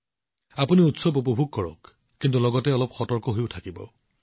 এই উৎসৱবোৰ যথেষ্ট উপভোগ কৰক কিন্তু অলপ সতৰ্ক হওক